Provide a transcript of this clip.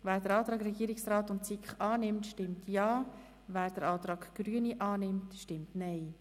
Wer den Antrag Regierungsrat/SiK annimmt, stimmt Ja, wer den Antrag Grüne annimmt, stimmt Nein.